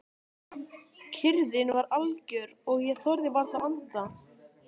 Kyrrðin var algjör og ég þorði varla að anda.